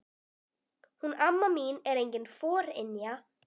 Hún amma mín er engin forynja.